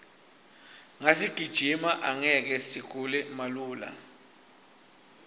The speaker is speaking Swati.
nasigijima angeke sigule malula